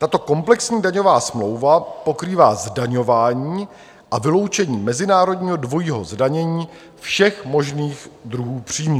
Tato komplexní daňová smlouva pokrývá zdaňování a vyloučení mezinárodního dvojího zdanění všech možných druhů příjmů.